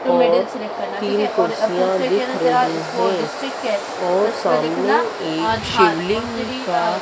और तीन कुरसियां दिख रही है और सामने एक शिवलिंग सा--